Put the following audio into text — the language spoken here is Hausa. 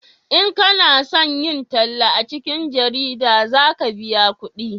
in kana son yin talla a cikin jarida za ka biya kudi